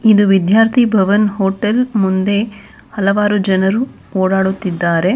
ಇದು ವಿದ್ಯಾರ್ಥಿ ಭವನ್ ಹೋಟೆಲ್ ಮುಂದೆ ಹಲವಾರು ಜನರು ಓಡಾಡುತ್ತಿದ್ದಾರೆ.